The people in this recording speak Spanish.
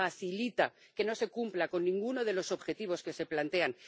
se facilita que no se cumpla ninguno de los objetivos que se plantean.